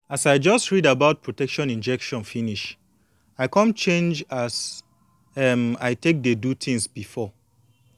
as i just read about protection injection finish i come change as um i take dey do thins before